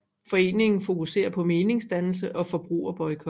Foreningen fokuserer på meningsdannelse og forbrugerboykot